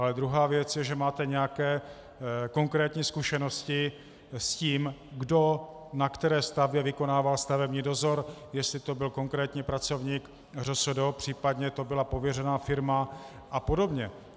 Ale druhá věc je, že máte nějaké konkrétní zkušenosti s tím, kdo na které stavbě vykonával stavební dozor, jestli to byl konkrétní pracovník ŘSD, případně to byla pověřená firma a podobně.